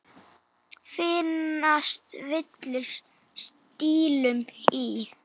Finnast villur stílum í.